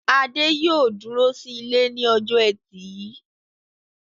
Adé yóò dúró sí ilé ní ọjọ́ ẹtì yìí.